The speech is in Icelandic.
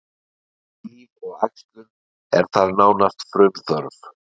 Kynlíf og æxlun er þar nánast frumþörf.